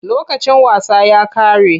Lokacin wasa ya ƙare.